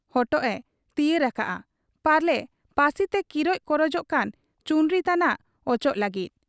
ᱦᱚᱴᱚᱜ ᱮ ᱛᱤᱭᱟᱹᱨ ᱟᱠᱟᱜ ᱟ ᱾ ᱯᱟᱞᱮ ᱯᱟᱹᱥᱤᱛᱮ ᱠᱤᱨᱚᱡ ᱠᱚᱨᱚᱡᱚᱜ ᱠᱟᱱ ᱪᱩᱱᱨᱤ ᱛᱟᱱᱟᱜ ᱚᱪᱚᱜᱽ ᱞᱟᱹᱜᱤᱫ ᱾